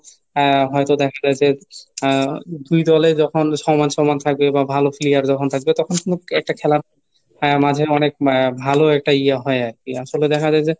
আহ হয়তো দেখা যায় যে আহ দুই দলে যখন সমান সমান থাকবে বা ভালো player যখন থাকবে তখন কোন একটা খেলার আহ মাঝে অনেক ভালো একটা ইয়ে হয় আর কি আসলে দেখা যায় যে,